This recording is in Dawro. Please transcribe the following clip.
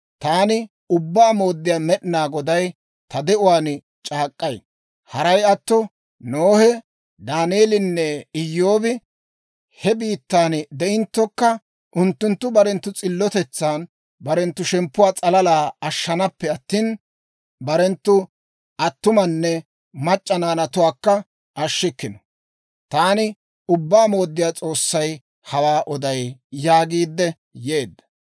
taani Ubbaa Mooddiyaa Med'inaa Goday ta de'uwaan c'aak'k'ay: Haray atto, Nohe, Daaneelinne Iyyoobi he biittan de'inttokka, unttunttu barenttu s'illotetsan barenttu shemppuwaa s'alala ashshanaappe attina, barenttu attumanne barenttu mac'c'a naanatuwaakka ashshikkino. Taani Ubbaa Mooddiyaa S'oossay hawaa oday» yaagiidde yeedda.